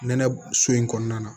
Nɛnɛ so in kɔnɔna na